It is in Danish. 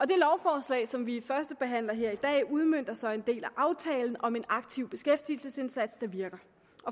det lovforslag som vi førstebehandler her i dag udmønter så en del af aftalen om en aktiv beskæftigelsesindsats der virker